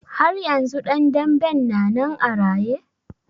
Har yanzu ɗan danben na nan a raye?